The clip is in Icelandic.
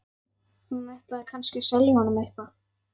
Hún ætlaði kannski að selja honum eitthvað.